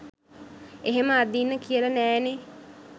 එහෙම අදින්න කියල නෑනේ